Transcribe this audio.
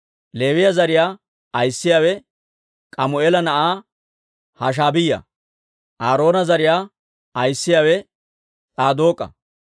Leewiyaa zariyaa ayissiyaawe K'amu'eela na'aa Hashaabiyaa. Aaroona zariyaa ayissiyaawe S'aadook'a.